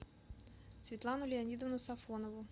светлану леонидовну сафонову